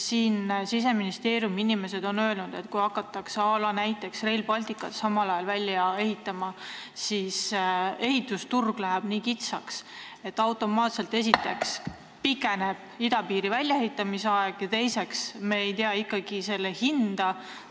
Siseministeeriumi inimesed on öelnud, et kui hakatakse näiteks Rail Balticut samal ajal välja ehitama, siis läheb ehitusturul nii kitsaks, et esiteks automaatselt pikeneb idapiiri väljaehitamise aeg ja teiseks ei tea me ikkagi selle hinda.